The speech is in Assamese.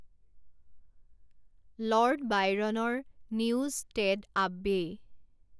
লৰ্ড বায়ৰণৰ নিউজষ্টেড আব্বেই